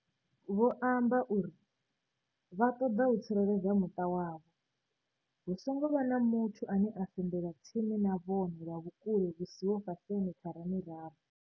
Vho amba uri, Vha ṱoḓa u tsireledza muṱa wavho. Hu songo vha na muthu ane a sendela tsini na vhone lwa vhukule hu siho fhasi ha mithara miraru.